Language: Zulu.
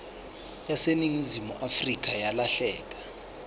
yaseningizimu afrika yalahleka